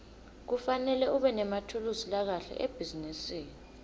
kufanele ubenemathulusi lakahle ebhizinisi